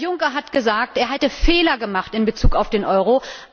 Herr Juncker hat gesagt, er hätte Fehler gemacht in Bezug auf den Euro.